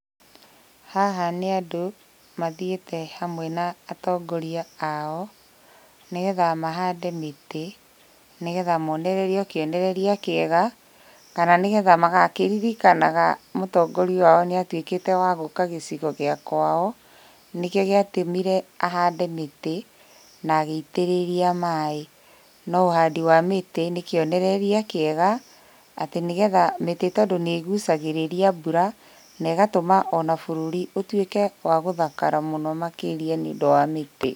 Haha nĩ andũ mathiĩte hamwe na atongoria ao, nĩgetha mahande mĩtĩ, nĩgetha monererio kĩonereria kĩega, kana nĩgetha magakĩririkanaga mũtongoria wao nĩatuĩkĩte wa gũka gĩcigo gĩa kwao, nĩkĩo gĩatũmire ahande mĩtĩ, na agĩitĩrĩria maĩ. Na ũhandi wa mĩtĩ nĩkĩonereria kĩega, atĩ nĩgetha, mĩtĩ tondũ nĩĩgucagĩrĩria mbura, na ĩgatũma ona bũrũri ũtuĩke wa gũthakara mũno makĩria nĩũdũ wa mĩtĩ.